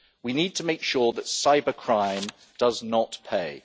We need to make sure that cybercrime does not pay.